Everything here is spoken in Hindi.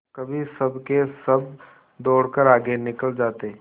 कभी सबके सब दौड़कर आगे निकल जाते